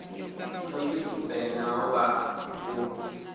no pfi tshivenḓa hovha hu